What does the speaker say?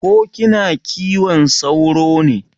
Ko kina kiwon sauro ne?